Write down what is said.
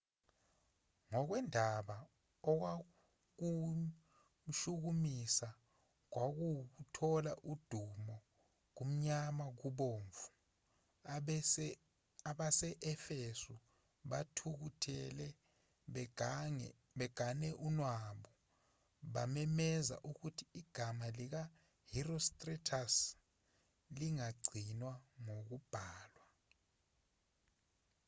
ngokwendaba okwakumshukumisa kwakuwukuthola udumo kumnyama kubomvu abase-efesu bethukuthele begane unwabu bamemezela ukuthi igama likaherostratus lingagcinwa ngokubhalwa